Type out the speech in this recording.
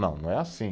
Não, não é assim.